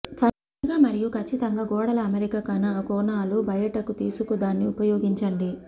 త్వరగా మరియు కచ్చితంగా గోడల అమరిక కోణాలు బయటకు తీసుకు దాన్ని ఉపయోగించండి